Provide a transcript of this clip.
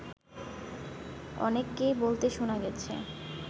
অনেককেই বলতে শোনা গেছে